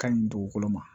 Ka ɲi dugukolo ma